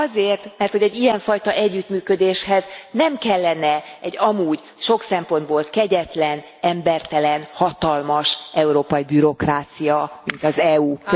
Hát azért, mert hogy egy ilyen fajta együttműködéshez nem kellene egy amúgy sok szempontból kegyetlen, embertelen, hatalmas európai bürokrácia, mint az EU.